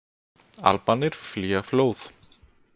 Albanir flýja flóð